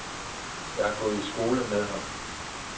Jeg har gået i skole med ham.